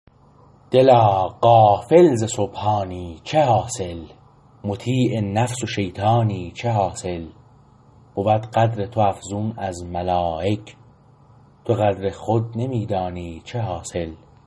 دلا غافل ز سبحانی چه حاصل مطیع نفس شیطانی چه حاصل بود قدر تو افزون از ملایک تو قدر خود نمیدانی چه حاصل